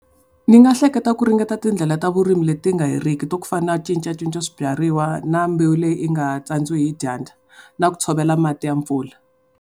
Ni nga hleketa ku ringeta tindlela ta vurimi leti nga heriki ta ku fana cincacinca swibyariwa na mbewu leyi nga tsandziwi hi dyandza. Na ku tshovela mati ya mpfula.